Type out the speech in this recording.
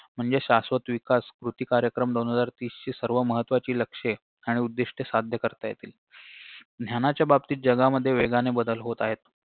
म्हणजे शाश्वत विकास कृती कार्यक्रम दोन हजार तीसची सर्व महत्वाची लक्ष्ये आणि उद्दिष्ट्ये साध्य करता येतील ज्ञानाच्या बाबतीत जगामध्ये वेगाने बदल होत आहेत